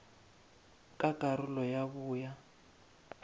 ka karolo ya bo ya